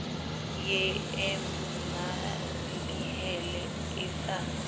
ye e mmalehele e sa